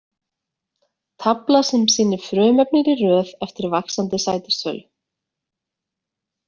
Tafla sem sýnir frumefnin í röð eftir vaxandi sætistölu.